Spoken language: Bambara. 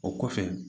O kɔfɛ